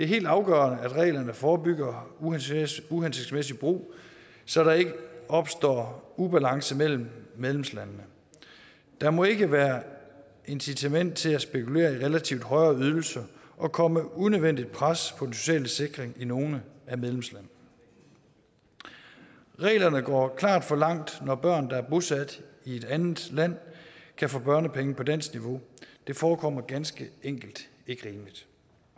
helt afgørende at reglerne forebygger uhensigtsmæssig brug så der ikke opstår ubalance mellem medlemslandene der må ikke være incitament til at spekulere i relativt højere ydelser og komme unødvendigt pres på den sociale sikring i nogle af medlemslandene reglerne går klart for langt når børn der er bosat i et andet land kan få børnepenge på dansk niveau det forekommer ganske enkelt ikke rimeligt